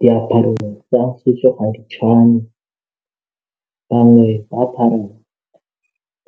Diaparo tsa setso ga di tshwane bangwe ba apara